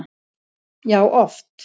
Já, oft